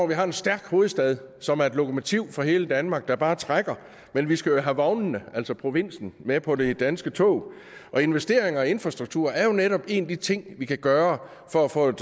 vi har en stærk hovedstad som er et lokomotiv for hele danmark og som bare trækker men vi skal jo have vognene altså provinsen med på det danske tog og investeringer i infrastruktur er jo netop en af de ting vi kan gøre for at få et